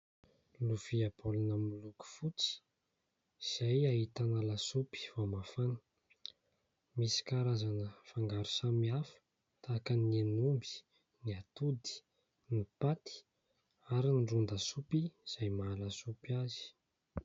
Lovia baolina miloko fotsy izay ahitana lasopy vao mafana. Misy karazana fangaro samihafa tahaka ny hen'omby, ny atody, ny paty ary ny ron-dasopy izay maha-lasopy azy.